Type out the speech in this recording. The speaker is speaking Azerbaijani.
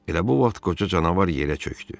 Elə bu vaxt qoca canavar yerə çöxdü.